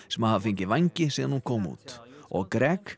sem hafa fengið vængi síðan hún kom út og